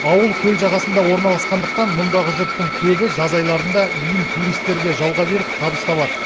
ауыл көл жағасында орналасқандықтан мұндағы жұрттың көбі жаз айларында үйін туристерге жалға беріп табыс табады